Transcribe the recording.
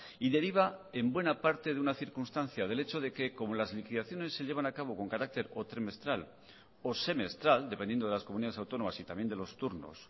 y deriva en buena parte de una circunstancia del hecho de que como las liquidaciones se llevan a cabo con carácter o trimestral o semestral dependiendo de las comunidades autónomas y también de los turnos